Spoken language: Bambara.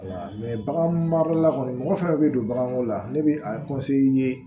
bagan marala kɔni mɔgɔ fɛn fɛn bɛ don baganko la ne bɛ a ye